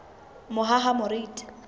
mohahamoriti